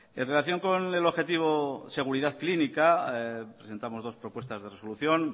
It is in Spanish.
en relación con el objetivo seguridad clínica presentamos dos propuestas de resolución